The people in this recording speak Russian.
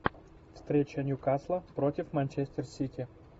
встреча ньюкасла против манчестер сити